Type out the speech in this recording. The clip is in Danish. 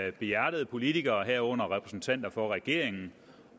af behjertede politikere herunder repræsentanter for regeringen